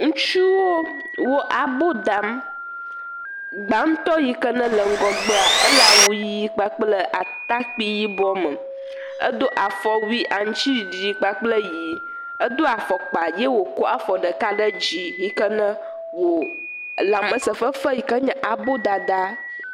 Ŋutsuwo abo dam gbatɔ yike nele ŋgɔgbe le awu ɣi kple atakpui yibɔ me edo afɔwui aŋtiɖiɖi kpakple ɣi do afɔkpa ye wòkɔ afɔ ɖeka ɖe dzi yike wo lamese fefem yike nye abo dada